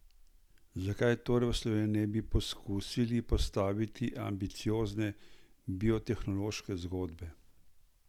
Zakaj torej v Sloveniji ne bi poskusili postaviti ambiciozne biotehnološke zgodbe?